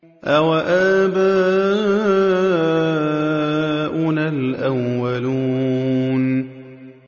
أَوَآبَاؤُنَا الْأَوَّلُونَ